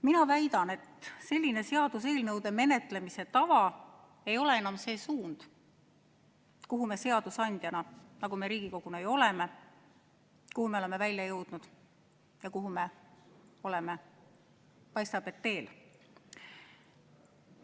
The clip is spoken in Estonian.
Mina väidan, et selline seaduseelnõude menetlemise tava ei ole enam see suund, kuhu me seadusandjana, nagu me Riigikoguna ju oleme, oleme välja jõudnud ja kuhu me, paistab et teel oleme.